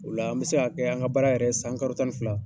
Ola an bɛ se ka kɛ an ka baara yɛrɛ y san karo tan ni fila